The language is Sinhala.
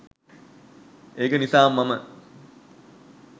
ඒක නිසාම මම